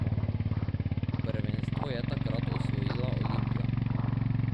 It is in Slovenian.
Prvenstvo je takrat osvojila Olimpija.